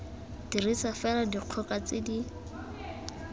dirisa fela dikgoka tse di